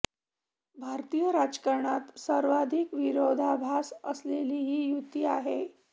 भारतीय राजकारणात सर्वाधिक विरोधाभास असलेली ही युती आहे